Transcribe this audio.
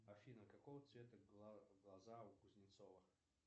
афина какого цвета глаза у кузнецова